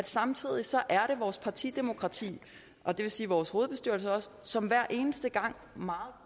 samtidig er vores partidemokrati og det vil sige også vores hovedbestyrelse som hver eneste gang meget